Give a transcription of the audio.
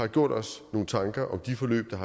har gjort os nogle tanker om de forløb der